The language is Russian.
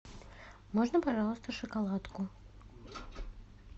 можно пожалуйста шоколадку